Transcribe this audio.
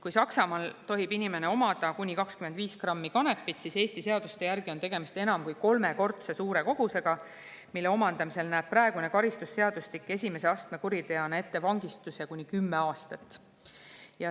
Kui Saksamaal tohib inimene omada kuni 25 grammi kanepit, siis Eesti seaduste järgi on tegemist enam kui kolmekordse kogusega, mille kui esimese astme kuriteo eest näeb praegune karistusseadustik ette vangistuse kuni kümme aastat.